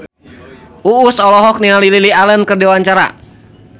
Uus olohok ningali Lily Allen keur diwawancara